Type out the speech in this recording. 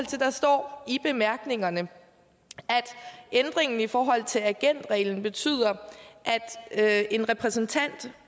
det der står i bemærkningerne at ændringen i forhold til agentreglen betyder at en repræsentant